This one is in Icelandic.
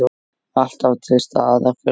Alltaf til staðar fyrir okkur.